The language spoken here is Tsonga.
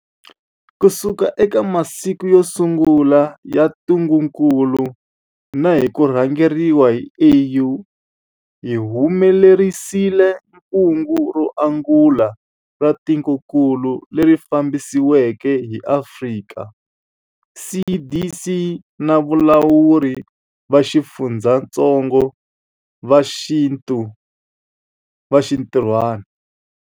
Kusuka eka masiku yo sungula ya ntungukulu na hi ku rhangeriwa hi AU, hi humelerisile kungu ro angula ra tikokulu, leri fambisiweke hi Afrika CDC na valawuri va xifundzatsongo va xinti rhwana.